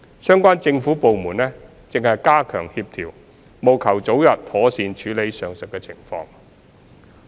相關政府部門正加強協調，務求早日妥善處理上述情況。